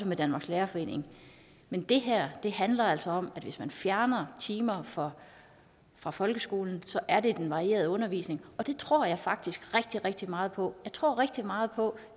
med danmarks lærerforening men det her handler altså om at hvis man fjerner timer fra fra folkeskolen er det den varierede undervisning det tror jeg faktisk rigtig rigtig meget på jeg tror rigtig meget på